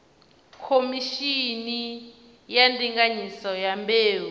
khomishini ya ndinganyiso ya mbeu